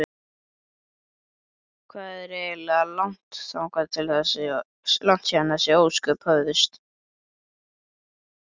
Hvað er eiginlega langt síðan þessi ósköp hófust?